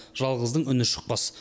жалғыздың үні шықпас